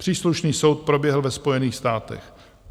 Příslušný soud proběhl ve Spojených státech.